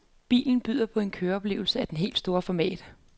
Bilen byder på en køreoplevelse af det helt store format.